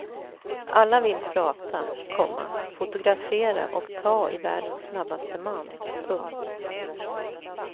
Alla vill prata, komma fotografera och ta i världens snabbaste man. punkt